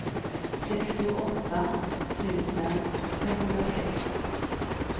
sextioåtta tusen femhundrasextio